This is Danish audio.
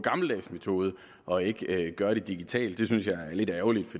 gammeldags måde og ikke gøre det digitalt det synes jeg er lidt ærgerligt